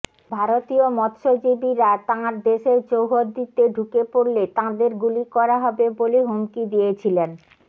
ভারতীয় মৎস্যজীবীরা তাঁর দেশের চৌহদ্দিতে ঢুকে পড়লে তাঁদের গুলি করা হবে বলে হুমকি দিয়েছিলেন